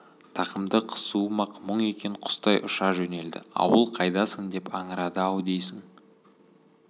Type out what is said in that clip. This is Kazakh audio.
тақымды қысуым-ақ мұң екен құстай ұша жөнелді ауыл қайдасың деп аңырады-ау дейсің